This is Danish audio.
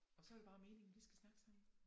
Og så er det bare meningen vi skal snakke sammen